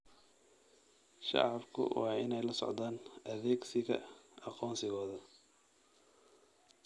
Shacabku waa inay la socdaan adeegsiga aqoonsigooda.